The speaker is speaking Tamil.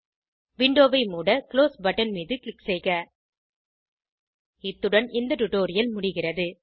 விண்டோவை மூட குளோஸ் பட்டன் மீது க்ளிக் செய்க இத்துடன் இந்த டுடோரியல் முடிகிறது